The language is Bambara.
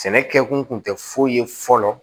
Sɛnɛ kɛ kun kun tɛ foyi ye fɔlɔ